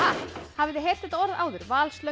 hafið þið heyrt þetta orð áður